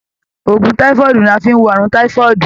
Òògùn táífọ́ọ̀dù ni a fí n wo ààrùn táífọ́ọ̀dù.